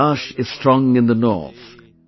Kailash is strong in the north,